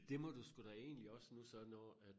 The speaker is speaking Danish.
Det må du sgu da egentlig også nu så når at